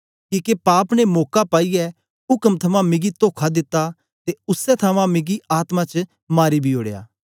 किके पाप ने मौका पाईऐ उक्म थमां मिगी तोखा दित्ता ते उसै थमां मिगी आत्मा च मारी बी ओड़या